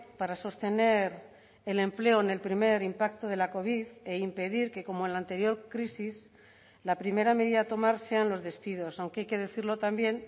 para sostener el empleo en el primer impacto de la covid e impedir que como en la anterior crisis la primera medida a tomar sean los despidos aunque hay que decirlo también